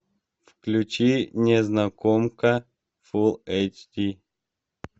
включи незнакомка фул эйч ди